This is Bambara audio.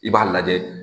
I b'a lajɛ